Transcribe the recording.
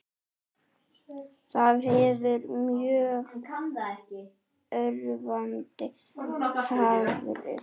Það hefur mjög örvandi áhrif.